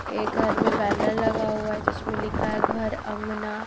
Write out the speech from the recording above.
ये घर मे बॅनर लगा हुआ है जिसमे मे लिखा है घर आँगना--